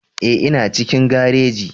Ee, ina cikin gareji